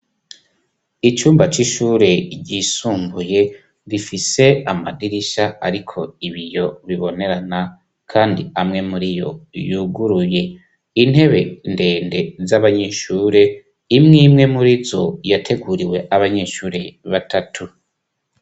Icumba c'ishure ryisumbuye bifise amadirisha, ariko ibiyo bibonerana, kandi amwe muri yo yuguruye intebe ndende z'abanyishure imwe imwe muri zo yateguriwe abanyishure batatu.